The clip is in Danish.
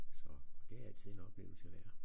Så og det er altid en oplevelse værd